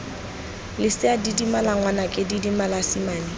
lesea didimala ngwanaka didimala simane